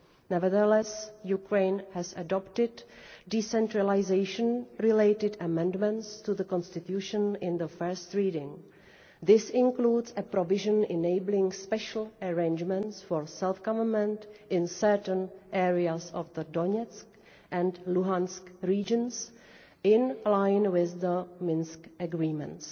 Nevertheless, Ukraine adopted decentralisation related amendments to the constitution at first reading, including a provision enabling special arrangements for self government in certain areas of the Donetsk and Luhansk regions, in line with the Minsk Agreements.